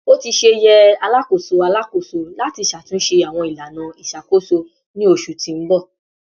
O ti ṣe yẹ Alakoso Alakoso lati ṣatunṣe awọn ilana iṣakoso ni oṣu ti n bọ